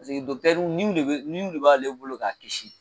niw de b'ale bolo k'a kisi